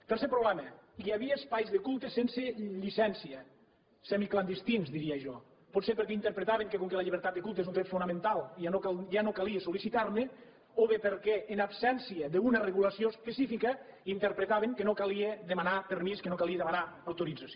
tercer problema hi havia espais de culte sense llicència semiclandestins diria jo potser perquè interpretaven que com que la llibertat de culte és un dret fonamental ja no calia sol·licitar ne o bé perquè en absència d’una regulació específica interpretaven que no calia demanar permís que no calia demanar autorització